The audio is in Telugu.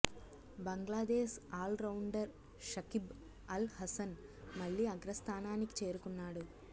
బంగ్లాదేశ్ ఆల్రౌండర్ షకిబ్ అల్ హసన్ మళ్లీ అగ్రస్థానానికి చేరుకున్నాడు